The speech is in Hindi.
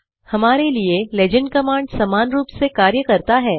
हमारे लिए लेजेंड कमांड समानरूप से कार्य करता है